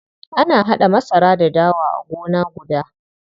Ana haɗa masara da dawa a gona guda.